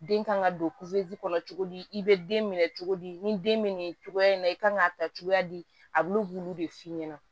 Den kan ka don kɔnɔ cogo di i bɛ den minɛ cogo di ni den bɛ nin cogoya in na i kan ka ta cogoya di a bɛ k'olu de f'i ɲɛna